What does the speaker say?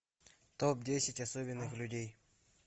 топ десять особенных людей